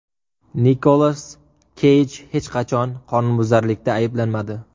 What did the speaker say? Nikolas Keyj hech qanday qonunbuzarlikda ayblanmadi.